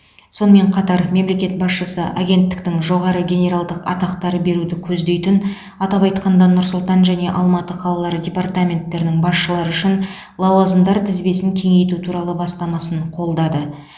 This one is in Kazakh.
сонымен қатар мемлекет басшысы агенттіктің жоғары генералдық атақтар беруді көздейтін атап айтқанда нұр сұлтан және алматы қалалары департаменттерінің басшылары үшін лауазымдар тізбесін кеңейту туралы бастамасын қолдады